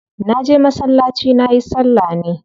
Na je masallaci nayi salla ne.